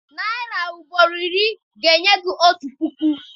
Narị ugboro iri ga-enye otu puku.